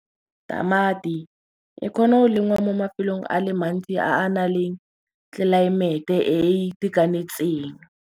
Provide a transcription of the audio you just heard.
Tamati e kgona go lengwa mo mafelong a le mantsi a a nang le tlelaemete e e itekanetseng.